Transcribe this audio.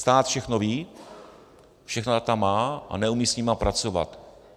Stát všechno ví, všechna data má, a neumí s nimi pracovat.